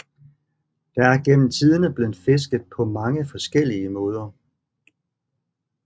Der er gennem tiderne blevet fisket på mange forskellige måder